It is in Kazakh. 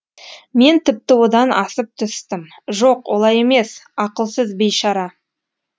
мен тіпті одан асып түстім жоқ олай емес ақылсыз бейшара